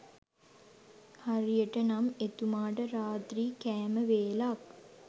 හරියට නම් එතුමාට රාත්‍රී කෑම වේලක්